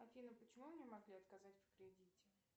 афина почему мне могли отказать в кредите